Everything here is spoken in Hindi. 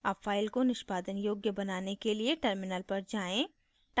अब file को निष्पादन योग्य बनाने के लिए terminal पर जाएँ